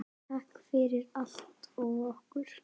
Takk fyrir allt og okkur.